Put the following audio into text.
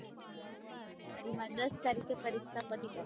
મારે દસ તારીખે પરીક્ષા પતી જાયે